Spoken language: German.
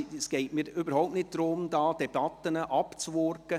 Es geht mir überhaupt nicht darum, hier Debatten abzuwürgen.